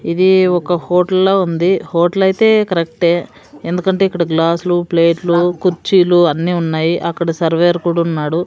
ఇది ఒక హోటల్ లా ఉంది హోటల్ అయితే కరెక్టయే ఎందుకంటే ఇక్కడ గ్లాస్సులు ప్లేట్లూ కుర్చీలు అన్ని ఉన్నాయి అక్కడ సర్వర్ కూడా ఉన్నాడు.